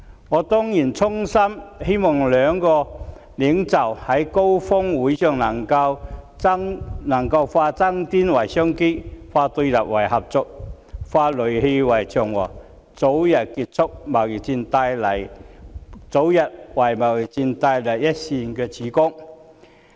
我當然衷心希望兩國領袖在峰會上能夠化爭端為商機，化對立為合作，化戾氣為祥和，為早日結束貿易戰帶來一線曙光。